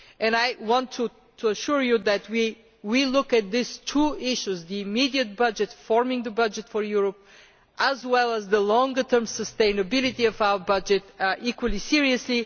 I want to assure you that we will look at these two issues the immediate budget, forming the budget for Europe, as well as the longer term sustainability of our budget equally seriously.